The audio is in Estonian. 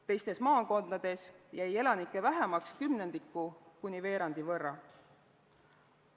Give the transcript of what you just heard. Teistes maakondades jäi elanikke vähemaks kümnendiku kuni veerandi võrra.